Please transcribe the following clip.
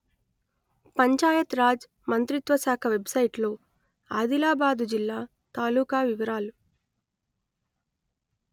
పంచాయత్ రాజ్ మంత్రిత్వ శాఖ వెబ్‌సైటులో ఆదిలాబాదు జిల్లా తాలూకాల వివరాలు